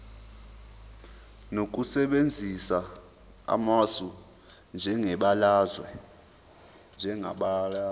ngokusebenzisa amasu anjengebalazwe